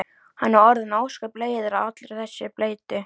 Hann er orðinn ósköp leiður á allri þessari bleytu.